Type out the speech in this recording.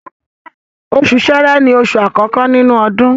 Oṣù Ṣẹ́rẹ́ ni oṣù àkọ́kọ́ nínú ọdún.